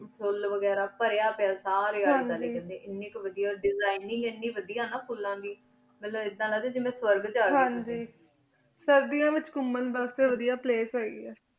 ਫੁਲ ਵਾਘਾਰਾ ਪਰਯ ਪਿਯਾ ਸਾਰੀ ਅੰਗ੍ਹਨ designing ਵਾਦੇਯਾ ਦੇਸਿਗ੍ਨੇ ਇਨ ਕੀ ਵਾਦੇਯਾ ਫੁਲਾਂ ਦੀ ਬੰਦੀ ਨੂੰ ਏਦਾਂ ਲਗਦਾ ਜਿਦਾਂ ਫੋਰਿਗ ਚ ਯਾ ਹਨ ਜੀ ਸੇਰ੍ਦੇਯਾ ਵੇਚ ਘੁਮਾਣ ਵਾਸ੍ਟੀ ਵਾਦੇਯਾ place ਹੀ ਗਿਆ